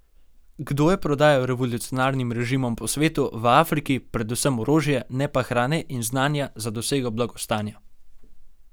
Kdo je prodajal revolucionarnim režimom po svetu, v Afriki, predvsem orožje, ne pa hrane in znanja za dosego blagostanja?